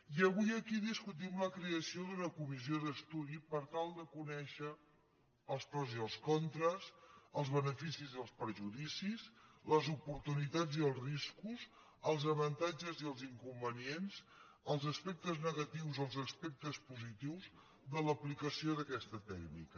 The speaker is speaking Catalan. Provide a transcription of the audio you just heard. i avui aquí discutim la creació d’una comissió d’estudi per tal de conèixer els pros i els contres els beneficis i els perjudicis les oportunitats i els riscos els avantatges i els inconvenients els aspectes negatius o els aspectes positius de l’aplicació d’aquesta tècnica